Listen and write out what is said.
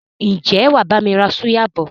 Ǹjẹ́ wàá bami ra súyà bọ̀?